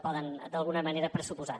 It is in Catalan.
poden d’alguna manera pressuposar